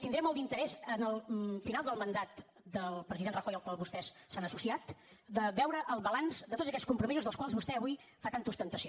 tindré molt d’interès en el final del mandat del president rajoy al qual vostès s’han associat de veure el balanç de tots aquests compromisos dels quals vostè avui fa tanta ostentació